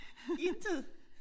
Intet?